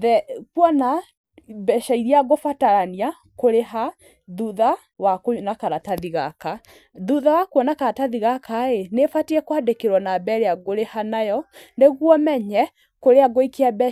the kuona mbeca iria ngũbatarania kũrĩha thutha wa kũrĩ na karatathi gaka. Thutha wa kuona karatathi gaka rĩ, nĩ batiĩ kwandĩkĩrwo namba ĩrĩa ngũrĩha nayo, nĩguo menye kũrĩa ngũikia mbeca.